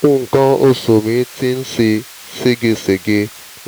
nǹkan oṣù mi ti ń ṣe seégesège